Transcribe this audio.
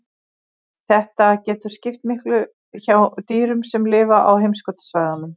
Þetta getur skipt miklu hjá dýrum sem lifa á heimskautasvæðunum.